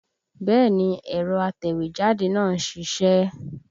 Bẹ́ẹ̀ni ẹ̀rọ atẹ̀wẹ́jáde náà ń ṣiṣẹ́